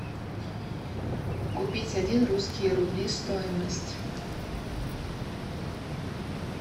купить один русские рубли стоимость